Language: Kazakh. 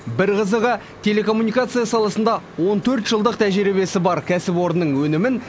бір қызығы телекоммуникация саласында он төрт жылдық тәжірибесі бар кәсіпорынның өнімін